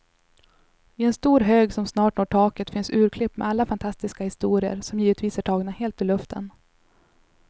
I en stor hög som snart når taket finns urklipp med alla fantastiska historier, som givetvis är tagna helt ur luften.